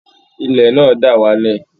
Ilẹ̀ náà dà wá lẹ̀